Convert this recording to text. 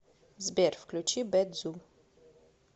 сбер включи бэд зу